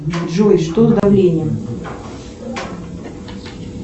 джой что с давлением